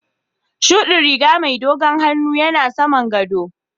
shuɗi riga mai dogon hannu yana saman gaɗo.